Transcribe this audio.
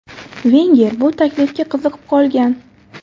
Venger bu taklifga qiziqib qolgan.